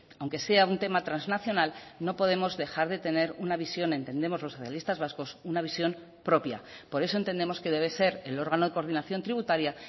aunque sea un tema transnacional no podemos dejar de tener una visión entendemos los socialistas vascos una visión propia por eso entendemos que debe ser el órgano de coordinación tributaria